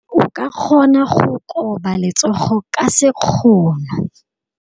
O ka kgona go koba letsogo ka sekgono.